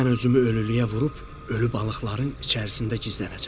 Mən özümü ölülüyə vurub ölü balıqların içərisində gizlənəcəm.